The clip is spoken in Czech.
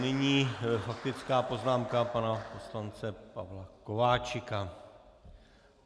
Nyní faktická poznámka pana poslance Pavla Kováčika.